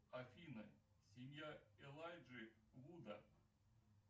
афина семья элайджи вуда